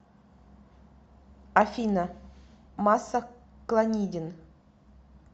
афина масса клонидин